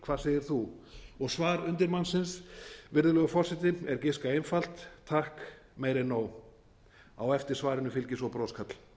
hvað segir þú og svar undirmannsins virðulegur forseti er giska einfalt takk meira en nóg á eftir svarinu fylgir svo broskarl